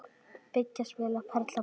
Byggja- spila- perla- púsla